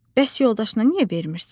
Bəs yoldaşına niyə vermirsən?